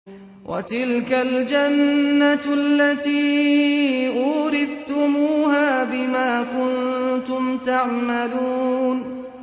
وَتِلْكَ الْجَنَّةُ الَّتِي أُورِثْتُمُوهَا بِمَا كُنتُمْ تَعْمَلُونَ